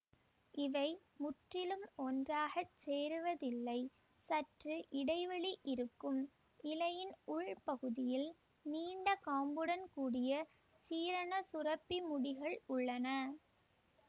இவை முற்றிலும் ஒன்றாக சேருவதில்லை சற்று இடைவெளி இருக்கும் இலையின் உள்பகுதியில் நீண்ட காம்புடன் கூடிய சீரண சுரப்பி முடிகள் உள்ளன